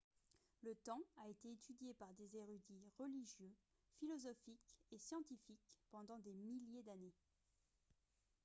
le temps a été étudié par des érudits religieux philosophiques et scientifiques pendant des milliers d'années